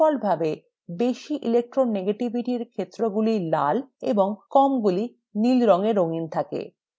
ডিফল্টভাবে বেশি electronegativity এর ক্ষেত্রগুলি লাল এবং কম গুলি নীল রঙে রঙিন